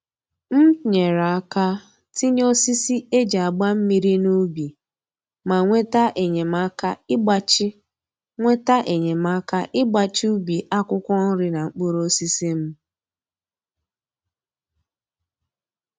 M nyere aka tinye osisi e ji agba mmiri n'ubi ma nweta enyemaka ịgbachi nweta enyemaka ịgbachi ubi akwụkwọ nri na mkpụrụosisi m